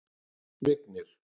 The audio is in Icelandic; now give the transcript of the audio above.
Vignir